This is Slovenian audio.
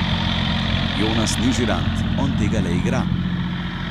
Jonas ni žirant, on tega le igra.